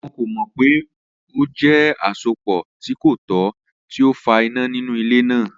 Wọn ko mọ pe o jẹ asopọ ti ko tọ ti o fa ina ninu ile naa.